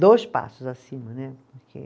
Dois passos acima, né? Porque